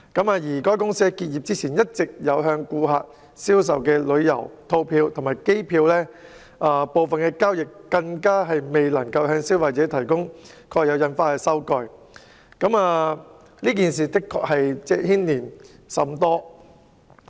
至於該公司結業前向顧客銷售的旅遊套票及機票，就部分交易未能向消費者提供蓋有印花的收據，這事的確牽連甚廣。